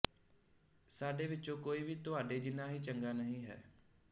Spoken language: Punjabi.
ਸਾਡੇ ਵਿੱਚੋਂ ਕੋਈ ਵੀ ਤੁਹਾਡੇ ਜਿੰਨਾ ਹੀ ਚੰਗਾ ਨਹੀਂ ਹੈ